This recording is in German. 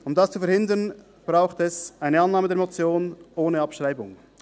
Um dies zu verhindern, braucht es eine Annahme der Motion ohne Abschreibung.